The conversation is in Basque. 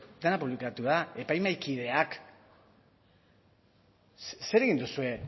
da epaimahaikideak zer egin duzue